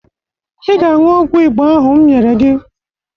Ị ga-aṅụ ọgwụ Igbo ahụ m nyere gị